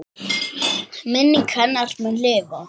Minning hennar mun lifa.